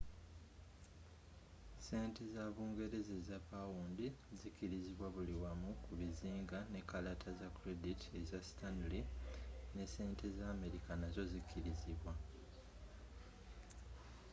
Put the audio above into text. sente za bungereza eza pound zikirizibwa buli wamu ku bizinga ne kalata za credit eza stanley ne sente za amerika nazzo zikirizibwa